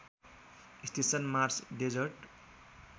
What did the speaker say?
station Mars desert